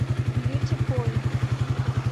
бьюти поинт